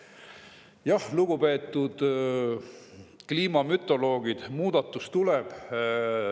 Jah, lugupeetud kliimamütoloogid, muudatus tuleb.